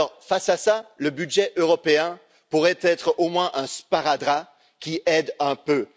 Face à tout cela, le budget européen pourrait être, au moins, un sparadrap qui aide un peu.